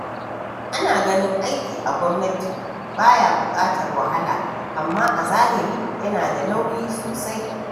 Ana ganin aiki a gwamnati ba ya buƙatar wahala, amma a zahiri yana da nauyi sosai.